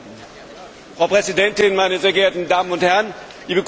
Frau Präsidentin, meine sehr geehrten Damen und Herren, liebe Kollegen!